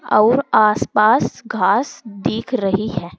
आउर आस पास घास दिख रही है।